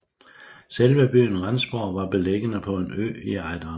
Selve byen Rendsborg var beliggende på en ø i Ejderen